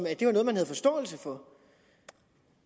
at det var noget man havde forståelse for